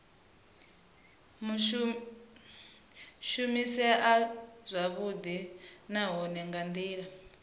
shumisea zwavhudi nahone nga ndila